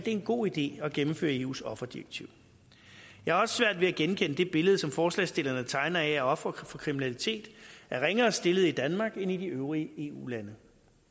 en god idé at gennemføre eus offerdirektiv jeg har også svært ved at genkende det billede som forslagsstillerne tegner af at ofre for kriminalitet er ringere stillet i danmark end i de øvrige eu lande